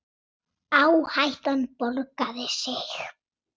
Áhættan borgaði sig.